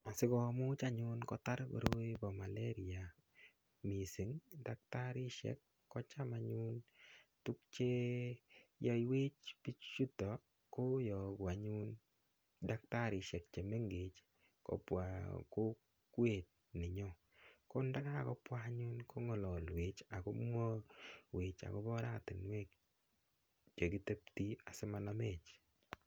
Asikomuch anyun kotar koroi bo malaria missing daktarishek ko cham anyun tuguk cheyoiwech bichuton koyogu anyun daktarishek chemengech kobwa kokwet nenyon ko ndakakobwa anyun ko ngolowech akomwowech akobo oratinwek chekiteptin asimanamech